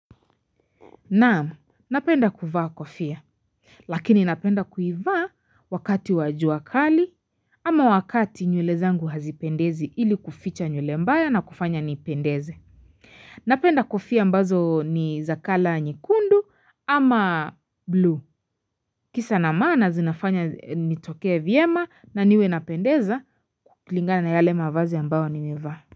Naamu, napenda kuvaa kofia, lakini napenda kuivaa wakati wa jua kali ama wakati nywele zangu hazipendezi ili kuficha nywele mbaya na kufanya nipendeze. Napenda kofia ambazo ni za color nyekundu ama blue. Kisa na maana zinafanya nitokea vyema na niwe napendeza kukulingana na yale mavazi ambayo nimevaa.